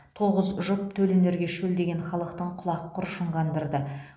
тоғыз жұп төл өнерге шөлдеген халықтың құлақ құрышын қандырды